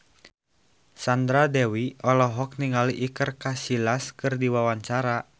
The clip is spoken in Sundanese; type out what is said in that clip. Sandra Dewi olohok ningali Iker Casillas keur diwawancara